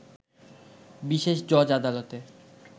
বিশেষ জজ আদালতে